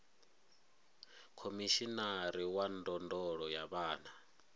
khomishinari wa ndondolo ya vhana